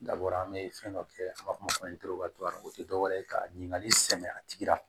Dabɔra an bɛ fɛn dɔ kɛ an b'a fɔ o ma o tɛ dɔwɛrɛ ye ka ɲininkali sɛmɛ a tigi la